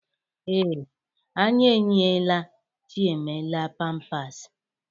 Ee, anyị eyinyeela Chiemelie pampasị.